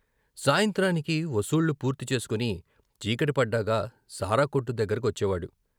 సాయంత్రానికి వసూళ్ళు పూర్తి చేసుకుని చీకటి పడ్డాక సారాకొట్టు దగ్గర కొచ్చేవాడు.